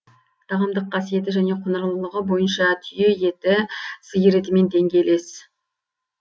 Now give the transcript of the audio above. тағамдық қасиеті және құнарлылығы бойынша түйе еті сиыр етімен деңгейлес